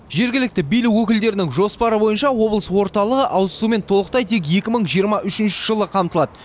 жергілікті билік өкілдерінің жоспары бойынша облыс орталығы ауызсумен толықтай тек екі мың жиырма үшінші жылы қамтылады